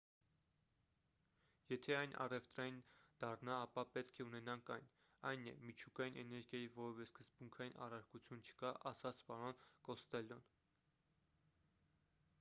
եթե այն առևտրային դառնա ապա պետք է ունենանք այն այն է միջուկային էներգիայի որևէ սկզբունքային առարկություն չկա ասաց պարոն կոստելլոն